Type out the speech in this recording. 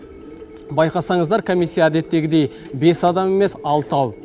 байқасаңыздар комиссия әдеттегідей бес адам емес алтау